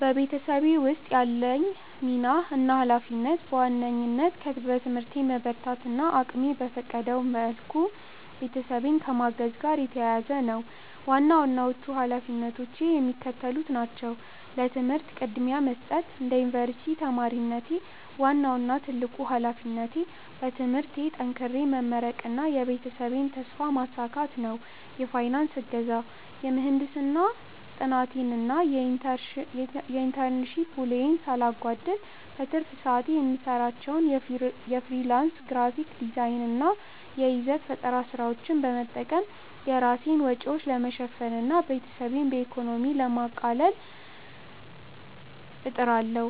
በቤተሰቤ ውስጥ ያለኝ ሚና እና ኃላፊነት በዋናነት በትምህርቴ መበርታት እና እቅሜ በፈቀደው ሁሉ ቤተሰቤን ከማገዝ ጋር የተያያዘ ነው። ዋና ዋናዎቹ ኃላፊነቶቼ የሚከተሉት ናቸው፦ ለትምህርት ቅድሚያ መስጠት፦ እንደ ዩኒቨርሲቲ ተማሪነቴ፣ ዋናው እና ትልቁ ኃላፊነቴ በትምህርቴ ጠንክሬ መመረቅና የቤተሰቤን ተስፋ ማሳካት ነው። የፋይናንስ እገዛ፦ የምህንድስና ጥናቴን እና የኢንተርንሺፕ ውሎዬን ሳላጓድል፣ በትርፍ ሰዓቴ የምሰራቸውን የፍሪላንስ ግራፊክ ዲዛይን እና የይዘት ፈጠራ ስራዎች በመጠቀም የራሴን ወጪዎች ለመሸፈን እና ቤተሰቤን በኢኮኖሚ ለማቃለል እጥራለሁ።